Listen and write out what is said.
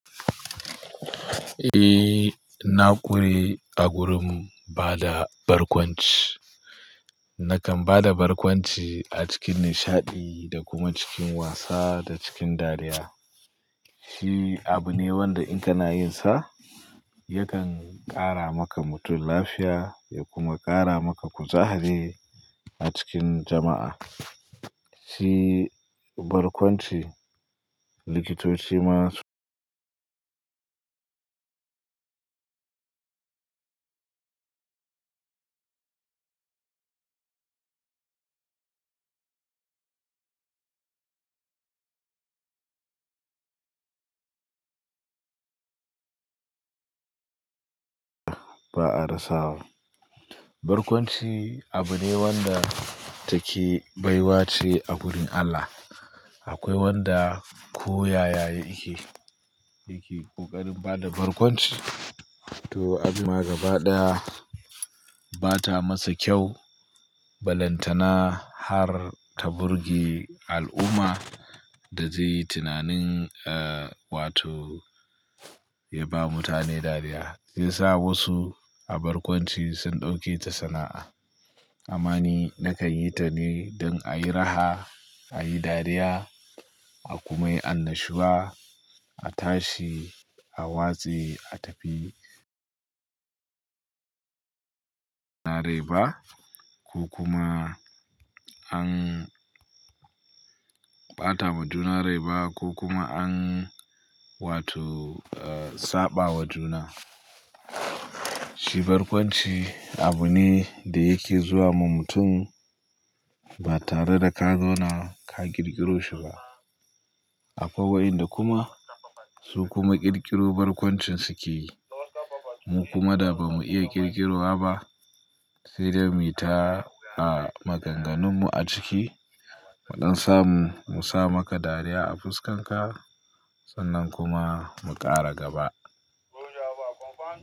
Eh, na ƙure a gurin bada barkwanci. Nakan bada barkwanci a cikin nishaɗi da kuma cikin wasa da cikin dariya. Shi abu ne wanda in kana yin sa, yakan ƙara maka mutum lafiya ya kuma ƙara maka kuzari a cikin jama'a. Shi barkwanci, likitoci ma ba a rasawa. Barkwanci abu ne wanda take baiwa ce a gurin Allah. Akwai wanda koyaya yake, yake ƙoƙarin bada barkwanci. To, abu ma gaba ɗaya ba ta masa kyau, balantana har ta burge al'umma da zai yi tunanin, eh, wato ya ba mutane dariya. Sai sa wasu a barkwanci sun ɗauke ta sana'a. Amma ni nakan yi ta ne don a yi raha, a yi dariya a kuma yi annashuwa, a tashi, a watse, a tafi. Na rai ba ko kuma an ɓata wa juna rai ba ko kuma an wato, eh, saɓa wa juna. Shi barkwanci abu ne da yake zuwa ma mutum ba tare da ka zauna ka ƙirƙiro shi ba. Akwai wa'inda kuma su kuma ƙirƙiro barkwancin suke yi. Mu kuma da ba mu iya ƙirƙiro wa ba, sai dai mu yi ta a maganganunmu a ciki, mu ɗansamu mu sa maka dariya a fuskanka sannan kuma mu ƙara gaba.